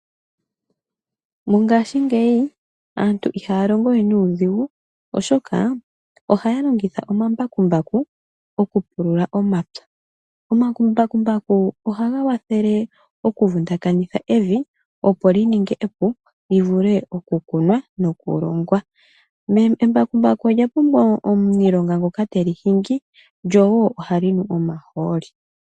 Mongashi ngeyi aantu ihalongowe nudhingu oshoka ohaya longitha omambakumbaku oku pulula omapya , omambakumbaku oha gawathele oku vundakanitha ev opo lininge epu livule oku kunwa noku longwa, embakumbaku oya pumbwa omunilonga ngoka telihingi lyo wo ohalinu omaholi.